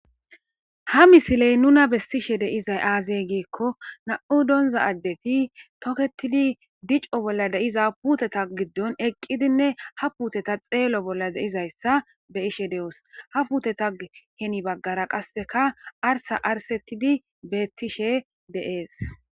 Ha misiley nuna besishe dizay aze gikoni nam'u sonza adeti toketidi dico bolla diza puuteta gidoni eqidinne ha puuteta xeelo bolla de'izaysa be'ashe de'osi, ha puutetappe heni bagara qaseka arisa arisetid beetishe de'es.